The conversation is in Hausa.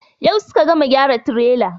Yau suka gama gyara tirelar.